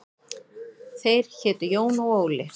Þeir hétu Jón og Óli.